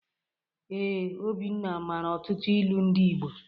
Ee, Obinna mara ọtụtụ ilu ndị Igbo.